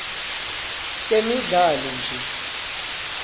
temidlalo nje